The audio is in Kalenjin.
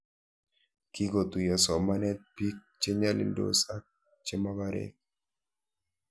Kikotuyo somanet pik che nyalildos ak che mokorek